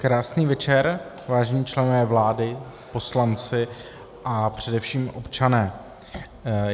Krásný večer, vážení členové vlády, poslanci a především občané.